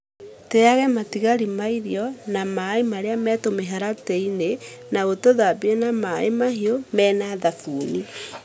Teaga matigari ma irio na maaĩ marĩa me tũmĩharatĩ-inĩ , na ũtũthambie na maaĩ mahiũ me na thabuni.